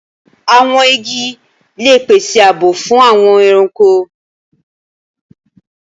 Awọn igi le pese ààbò fun awọn ẹranko